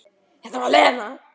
Það var Lena.